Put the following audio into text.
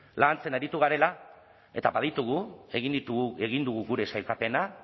lantzen aritu garela eta baditugu egin ditugu egin dugu gure sailkapena